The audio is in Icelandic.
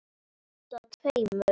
Handa tveimur